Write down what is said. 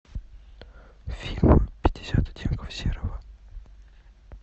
фильм пятьдесят оттенков серого